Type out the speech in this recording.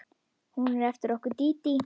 Hún er eftir okkur Dídí.